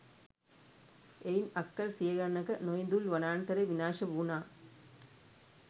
එයින් අක්කර සිය ගණනක නොඉඳුල් වනාන්තරය විනාශ වුනා.